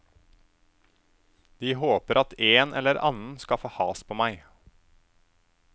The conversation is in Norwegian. De håper at en eller annen skal få has på meg.